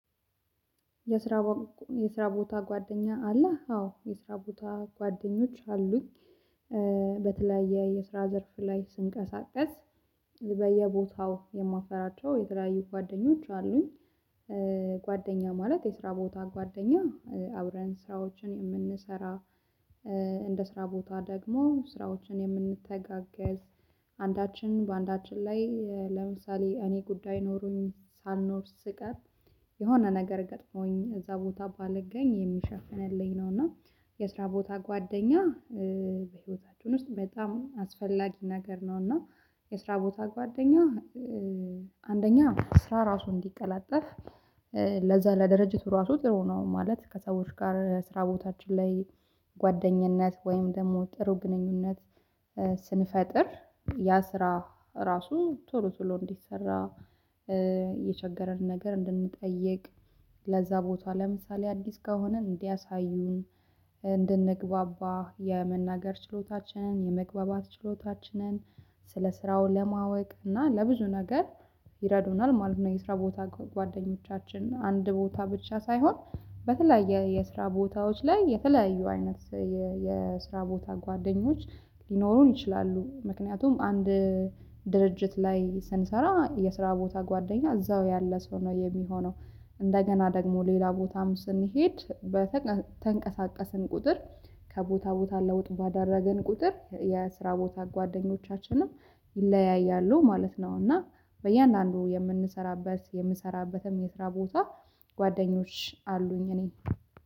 የስራ የስራ ቦታ ጓደኛ አለህ? አዎ የስራ ቦታ ጓደኞች አሉኝ በተለያየ የስራ ዘርፍ ላይ ስንቀሳቀስ በየቦታው የማፈራቸው የተለያዩ ጓደኞች አሉኝ ጓደኛ ማለት የስራ ቦታ ጓደኛ አብረን ስራዎችን የምንሰራ እንደ ስራ ቦታ ደግሞ ስራዎችን የምንተጋገዝ አንዳችን በአንዳችን ላይ ለምሳሌ እኔ ጉዳይ ኖሮኝ ሳልኖር ስቀር የሆነ ነገር ገጥሞኝ እዛ ቦታ ባልገኝ የሚሸፍንልኝ ነው እና የስራ ቦታ ጓደኛ በህይወታችን ውስጥ በጣም አስፈላጊ ነገር ነው እና የስራ ቦታ ጓደኛ አንደኛ ስራ ራሱ እንዲቀላጠፍ ለዛ ለድርጅቱ ራሱ ጥሩ ነው ማለት ከሰዎች ጋር ስራ ቦታችን ላይ ጓደኝነት ወይም ደግሞ ጥሩ ግንኙነት ስንፈጥር ያ ስራ ራሱ ቶሎ ቶሎ እንዲሰራ የቸገረንን ነገር እንድንጠይቅ ለዛ ቦታ ለምሳሌ አዲስ ከሆነን እንዲያሳዩን እንድንግባባ የመናገር ችሎታችንን የመግባባት ችሎታችንን ስለ ስራው ለማወቅ እና ለብዙ ነገር ይረዱናል ማለት ነው የስራ ቦታ ጓደኞቻችን አንድ ቦታ ብቻ ሳይሆን በተለያየ የስራ ቦታዎች ላይ የተለያዩ አይነት የስራ ቦታ ጓደኞች ሊኖሩን ይችላሉ ምክንያቱም አንድ ድርጅት ላይ ስንሰራ የስራ ቦታ ጓደኛ እዛው ያለ ሰው ነው የሚሆነው እንደገና ደግሞ ሌላ ቦታም ስንሄድ በተንቀሳቀስን ቁጥር ከቦታ ቦታ ለውጥ ባደረገን ቁጥር የስራ ቦታ ጓደኞቻችንም ይለያያሉ ማለት ነው እና በእያንዳንዱ የምንሰራበት የምሰራበትም የስራ ቦታ ጓደኞች አሉኝ እኔ